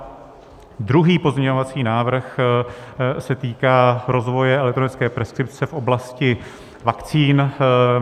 Druhý pozměňovací návrh se týká rozvoje elektronické preskripce v oblasti vakcín.